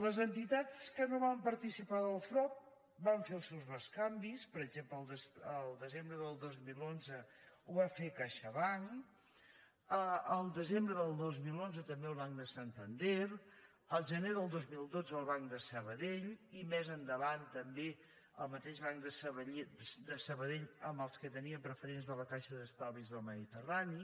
les entitats que no van participar del frob van fer els seus bescanvis per exemple el desembre del dos mil onze ho va fer caixabank el desembre del dos mil onze també el banc de santander el gener del dos mil dotze el banc de sabadell i més endavant també el mateix banc de sabadell amb els que tenien preferents de la caixa d’estalvis del mediterrani